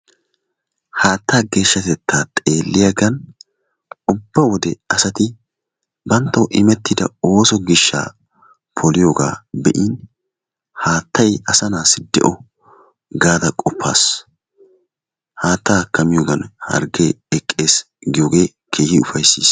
Haattaa geeshshatettaa xeelliyagan ubba wode asati banttawu imettida ooso gishshaa poliyogaa be'in haattay asanaassi de'o gaada qoppaas. Haattaakka miyogan harggee eqqees giyogan keehi ufayssiis.